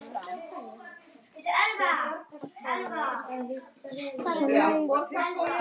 En séra